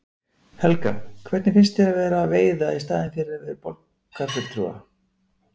Helga: Hvernig finnst þér að vera að veiða í staðinn fyrir borgarfulltrúa?